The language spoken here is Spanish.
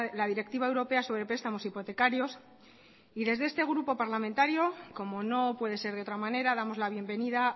la directiva europea sobre prestamos hipotecarios desde este grupo parlamentario como no puede ser de otra manera damos la bienvenida